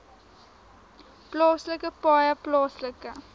plaaslike paaie plaaslike